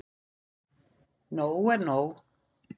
Nóg er nóg.